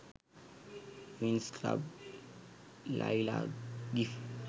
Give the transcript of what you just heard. winx club layla gif